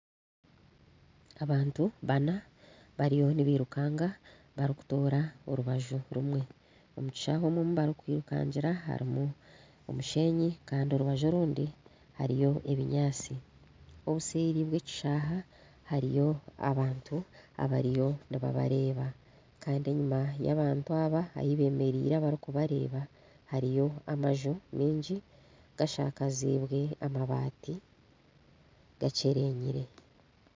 Abantu bana bariyo nibirukanga barikutoora orubaju rumwe, omu kishaayi omu barikwirukangira harimu omushenyi kandi orubaju orundi harimu ebinyaatsi obuseeri bw'ekishaayi hariyo abantu nibabareeba kandi enyima y'abantu aba ei beemereire abarikureeba hariyo amaju mingi gashakaziibwe amabaati gakyerenyire